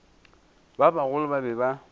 ba bagolo ba be ba